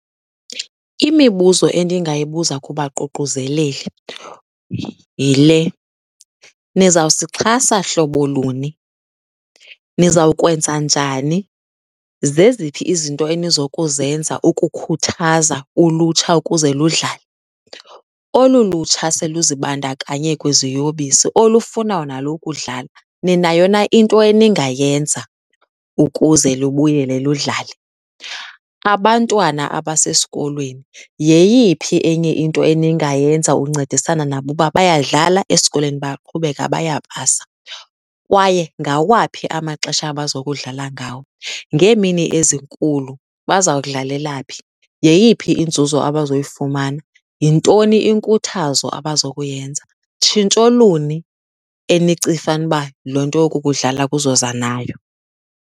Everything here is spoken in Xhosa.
Imibuzo endingayibuza kubaququzeleli yile. Nizawusixhasa hlobo luni? Nizawukwenza njani? Zeziphi izinto enizokuzenza ukukhuthaza ulutsha ukuze ludlale? Olu lutsha seluzibandakanye kwiziyobisi olufunayo nalo ukudlala, ninayo na into eningayenza ukuze lubuyele ludlale? Abantwana abasesikolweni, yeyiphi enye into eningayenza uncedisana nabo uba bayadlala, esikolweni bayaqhubeka bayapasa kwaye ngawaphi amaxesha abazokudlala ngawo? Ngeemini ezikulu bazawudlalela phi? Yeyiphi inzuzo abazoyifumana? Yintoni inkuthazo abazokuyenza? Tshintsho luni enicifanuba le nto yoku kudlala kuzoza nayo?